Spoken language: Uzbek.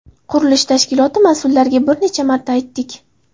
Qurilish tashkiloti mas’ullariga bir necha marta aytdik.